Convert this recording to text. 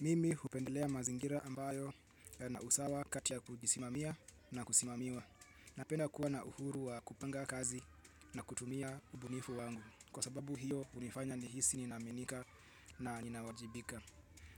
Mimi hupendelea mazingira ambayo yana usawa kati ya kujisimamia na kusimamiwa. Napenda kuwa na uhuru wa kupanga kazi na kutumia ubunifu wangu. Kwa sababu hiyo hunifanya nihisi ninaaminika na ninawajibika.